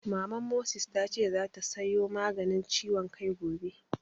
Maman Moses ta ce zata sayo Maganin ciwon kai gobe